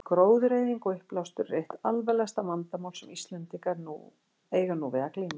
Gróðureyðing og uppblástur eru eitt alvarlegasta vandamál sem Íslendingar eiga nú við að glíma.